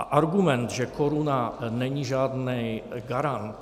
A argument, že koruna není žádný garant.